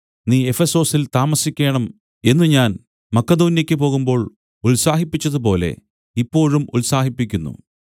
നീ എഫെസൊസിൽ താമസിക്കേണം എന്നു ഞാൻ മക്കെദോന്യെക്കു പോകുമ്പോൾ ഉത്സാഹിപ്പിച്ചതുപോലെ ഇപ്പോഴും ഉത്സാഹിപ്പിക്കുന്നു